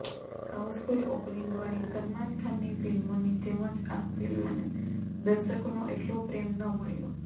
Housefull ઓપનિંગવાળી સલમાનની ફિલ્મોની જેમ જ આ ફિલ્મને દર્શકોનો એટલો પ્રેમ ન મળ્યો